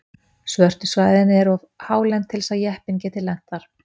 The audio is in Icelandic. svörtu svæðin eru of hálend til þess að jeppinn geti lent þar